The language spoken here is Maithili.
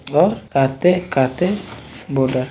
और काते काते बोला --